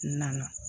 N nana